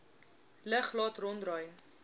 lug laat ronddraai